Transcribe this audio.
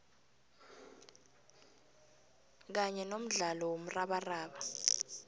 kanye nomdlalo womrabaraba